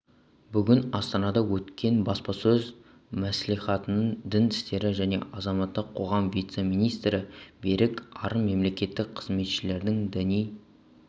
бүгін астанада өткен баспасөз мәслиіатында дін істері және азаматтық қоғам вице-министрі берік арын мемлекеттік қызметшілердің діни